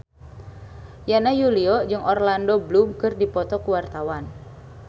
Yana Julio jeung Orlando Bloom keur dipoto ku wartawan